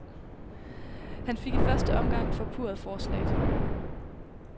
Han fik i første omgang forpurret forslaget.